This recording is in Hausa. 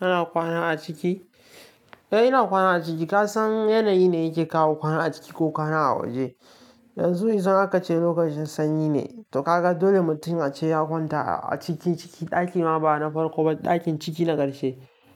Ina kwana a ciki? Eh ina kwana a ciki. Ka san yanayi ne yake kawo kwana a ciki ko kwana a waje. Yanzu in akace lokacin sanyi ne, to kagan dole mutum ace ya kwanta a ciki cikin daki ma ba na farko, dakin ciki